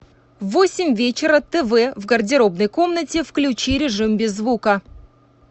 в восемь вечера тв в гардеробной комнате включи режим без звука